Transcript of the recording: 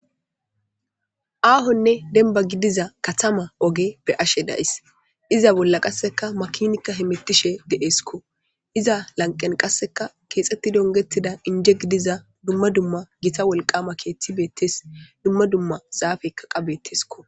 Ahonne denba gidiza katama oge be ashe days iza bolla qasseka makinikka hemettishe de7esikko iza lanqen qasseka keexetti dongettida inje gidiza dumma dumma gita wolqama keeththi beettes dumma dumma zaafeykkaqabettesko.